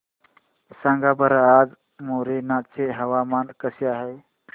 सांगा बरं आज मोरेना चे हवामान कसे आहे